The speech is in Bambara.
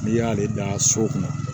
N'i y'ale dan so kɔnɔ